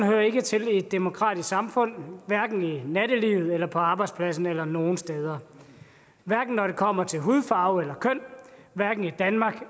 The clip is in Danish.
hører ikke til i et demokratisk samfund hverken i nattelivet eller på arbejdspladsen eller nogen steder hverken når det kommer til hudfarve eller køn hverken i danmark